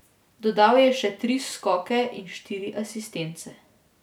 Dodal je še tri skoke in štiri asistence.